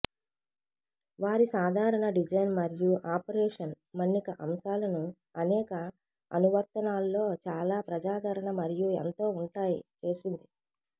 వారి సాధారణ డిజైన్ మరియు ఆపరేషన్ మన్నిక అంశాలను అనేక అనువర్తనాల్లో చాలా ప్రజాదరణ మరియు ఎంతో ఉంటాయి చేసింది